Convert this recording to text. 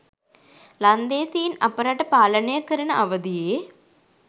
ලන්දේසීන් අප රට පාලනය කරන අවදියේ